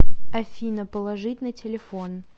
афина положить на телефон